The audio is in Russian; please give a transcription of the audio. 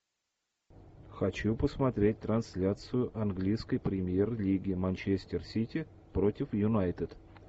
хочу посмотреть трансляцию английской премьер лиги манчестер сити против юнайтед